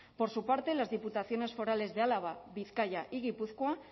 por su parte las diputaciones forales de álava bizkaia y gipuzkoa